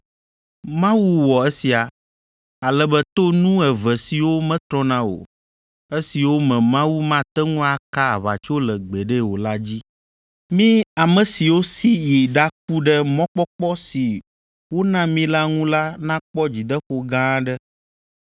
Mawu wɔ esia, ale be to nu eve siwo metrɔna o, esiwo me Mawu mate ŋu aka aʋatso le gbeɖe o la dzi, mí ame siwo si yi ɖaku ɖe mɔkpɔkpɔ si wona mí la ŋu la nakpɔ dzideƒo gã aɖe.